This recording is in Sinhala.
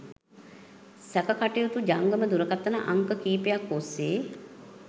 සැකකටයුතු ජංගම දුරකථන අංක කීපයක්‌ ඔස්‌සේ